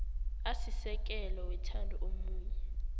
asisekelo wethando omunye